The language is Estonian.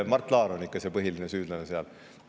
Mart Laar on ikka see põhiline süüdlane seal.